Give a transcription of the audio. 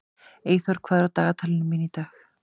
Eyþór, hvað er á dagatalinu mínu í dag?